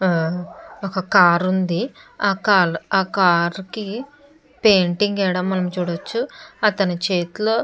ఒక కార్ ఉంది. ఆ కాల్ ఆ కార్ కి పెయింటింగ్ వేయటం మనం చూడవచ్చు. అతని చేతిలో --